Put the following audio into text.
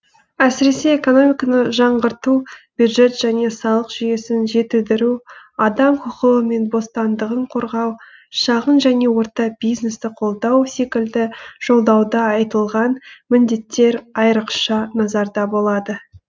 әсіресе экономиканы жаңғырту бюджет және салық жүйесін жетілдіру адам құқығы мен бостандығын қорғау шағын және орта бизнесті қолдау секілді жолдауда айтылған міндеттер айрықша назарда болады